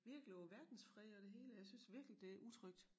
Virkelig over verdensfred og det hele jeg synes virkelig det er utrygt